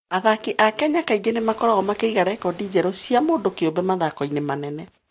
Athaki a Kenya kaingĩ nĩ makoragwo makĩiga rekondi njerũ cia mũndũ kĩũmbe mathako-inĩ manene.